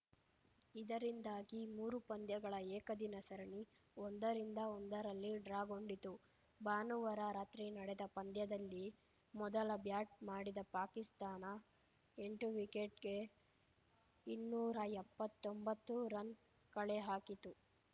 ಇದರಿಂದಾಗಿ ಮೂರು ಪಂದ್ಯಗಳ ಏಕದಿನ ಸರಣಿ ಒಂದರಿಂದ ಒಂದರಲ್ಲಿ ಡ್ರಾಗೊಂಡಿತು ಭಾನುವಾರ ರಾತ್ರಿ ನಡೆದ ಪಂದ್ಯದಲ್ಲಿ ಮೊದಲು ಬ್ಯಾಟ್‌ ಮಾಡಿದ ಪಾಕಿಸ್ತಾನ ಎಂಟು ವಿಕೆಟ್‌ಗೆ ಇನ್ನೂರಾ ಎಪ್ಪತೊಂಬತ್ತು ರನ್‌ ಕಳೆಹಾಕಿತ್ತು